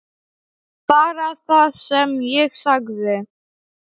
Bara það sem ég sagði.